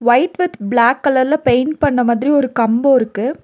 White with black கலர்ல paint பண்ண மாதிரி ஒரு கம்போ இருக்கு.